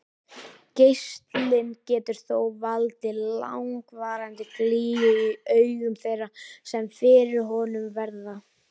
Geislinn getur þó valdið langvarandi glýju í augum þeirra sem fyrir honum verða.